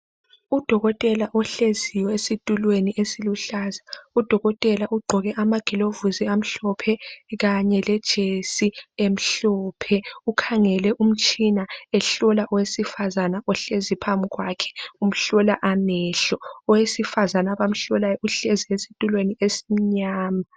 Udokotela ohleziyo esitulweni esiluhlaza. Udokotela ugqoke amagilovisi amhlophe. Kanye lejesi emhlophe. Ukhangele umtshina ehlola owesifazana ohlezi phambi kwakhe umhlola amehlo. Owesifazana abamhlolayo uhlezi esitulweni esimnyama.